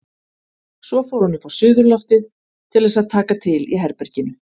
Svo fór hún upp á suðurloftið til þess að taka til í herberginu.